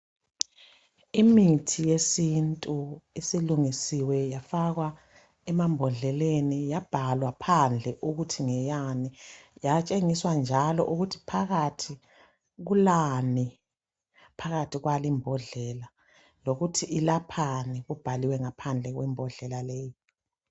Imithi yesintu esilungisiwe yafakwa emambodleleni yabhalwa phandle ukuthi ngeyani yatshengiswa njalo ukuthi phakathi kulani , phakathi kwali mbodlela lokuthi ilaphani kubhaliwe ngaphandle kwembodlela leyi.